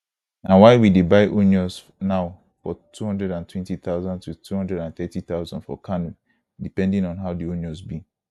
na why we dey buy onions now for 220000 to 230000 for kano depending on how di onions be